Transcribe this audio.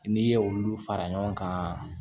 N'i ye olu fara ɲɔgɔn kan